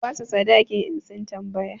Ku ba su sadakin in sun tambaya!